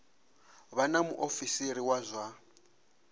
vha na muofisiri wa zwa